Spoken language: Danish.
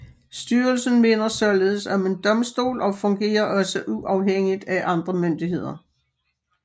Styrelsen minder således om en domstol og fungerer også uafhængigt af andre myndigheder